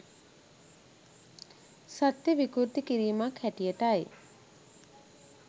සත්‍යය විකෘති කිරීමක් හැටියටයි.